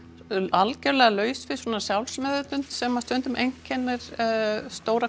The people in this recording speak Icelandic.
algjörlega laus við sjálfsmeðvitund sem stundum einkennir stóra